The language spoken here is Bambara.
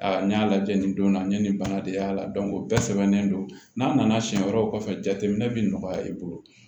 Aa n y'a lajɛ nin don na ne ni bana de y'a la o bɛɛ sɛbɛnnen don n'a nana siɲɛ wɛrɛw kɔfɛ jateminɛ bɛ nɔgɔya i bolo